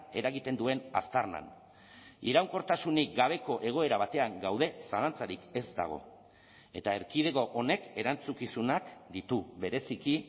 eragiten duen aztarnan iraunkortasunik gabeko egoera batean gaude zalantzarik ez dago eta erkidego honek erantzukizunak ditu bereziki